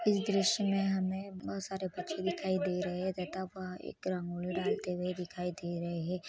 इस दृश्या मे हमे बहुत सारे बच्चे दिखाई दे रहे है दिखाई दे रहे है।